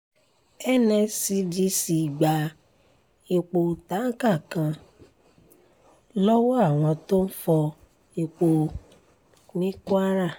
nscdc gba epo táǹkà kan lọ́wọ́ àwọn tó ń fọ ọ̀pá epo ní kwara